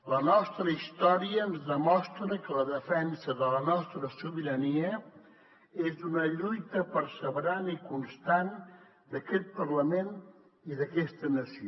la nostra història ens demostra que la defensa de la nostra sobirania és una lluita perseverant i constant d’aquest parlament i d’aquesta nació